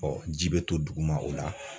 ji bɛ to duguma o la.